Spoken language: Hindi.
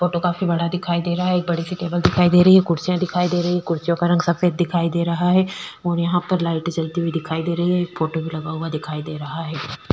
फोटो काफी बड़ा दिखाई दे रहा है एक बड़ी सी टेबल दिखाई दे रही है कुर्सियां भी दिखाई दे रही है कुर्सियों का रंग सफेद दिखाई दे रहा है ओर यहाँ पर लाइटे जलती हुई दिखाई दे रही है एक फोटो भी लगाया हुआ दिखाई दे रहा है।